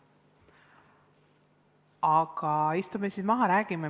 Aga istume siis maha ja räägime.